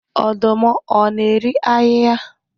Ọdụm ọ na-eri ahịhịa